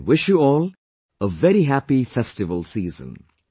I wish you all a very Happy festival season